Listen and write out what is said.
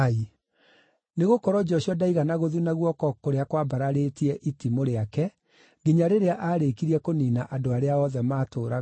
Nĩgũkorwo Joshua ndaigana gũthuna guoko kũrĩa kwambararĩtie itimũ rĩake nginya rĩrĩa aarĩkirie kũniina andũ arĩa othe maatũũraga Ai.